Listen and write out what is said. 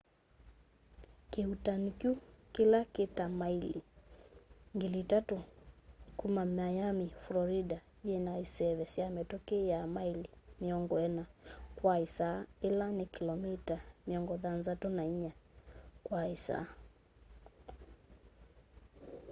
kiuutani kyu kila ki ta maili 3,000 kuma miami florida yina iseve sya mituki ya maili 40 kwa isaa ila ni kilomita 64 kwa isaa